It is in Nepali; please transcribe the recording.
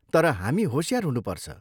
तर हामी होसियार हुनुपर्छ।